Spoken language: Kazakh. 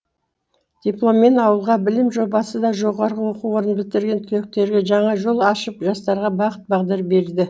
дипломмен ауылға білім жобасы да жоғары оқу орнын бітірген түлектерге жаңа жол ашып жастарға бағыт бағдар берді